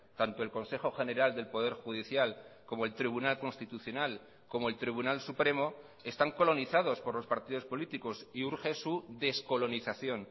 tanto el consejo general del poder judicial como el tribunal constitucional como el tribunal supremo están colonizados por los partidos políticos y urge su descolonización